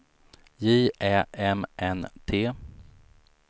J Ä M N T